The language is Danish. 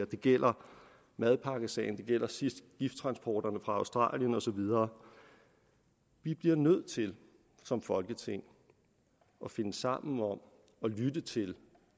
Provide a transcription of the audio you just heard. det gælder madpakkesagen det gælder sidst gifttransporterne fra australien og så videre vi bliver nødt til som folketing at finde sammen om og lytte til